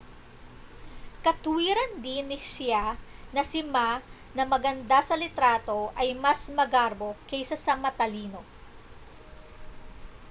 katuwiran din ni hsieh na si ma na maganda sa litrato ay mas magarbo kaysa sa matalino